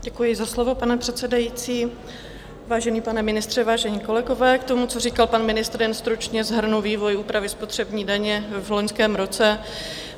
Děkuji za slovo, pane předsedající, vážený pane ministře, vážení kolegové, k tomu, co říkal pan ministr, jen stručně shrnu vývoj úpravy spotřební daně v loňském roce.